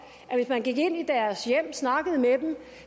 at hvis man gik ind i deres hjem og snakkede med dem